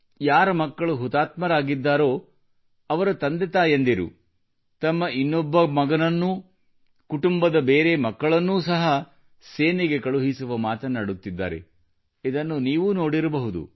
ಯಾರ ಮಕ್ಕಳು ಹುತಾತ್ಮರಾಗಿದ್ದಾರೋ ಅವರ ತಂದೆ ತಾಯಿಯರು ತಮ್ಮ ಇನ್ನೊಬ್ಬ ಮಗನನ್ನೂ ಕುಟುಂಬದ ಬೇರೆ ಮಕ್ಕಳನ್ನೂ ಸಹ ಸೇನೆಗೆ ಕಳುಹಿಸುವ ಮಾತನ್ನು ಆಡುತ್ತಿದ್ದಾರೆ ಇದನ್ನು ನೀವೂ ನೋಡಿರಬಹುದು